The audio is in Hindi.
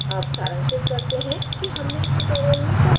अब सारांशित करते हैं कि हमने इस ट्यूटोरियलमें क्या सीखा